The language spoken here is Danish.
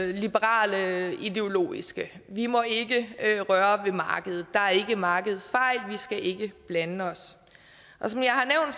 liberale ideologisk vi må ikke røre ved markedet der er ikke markedsfejl vi skal ikke blande os som jeg har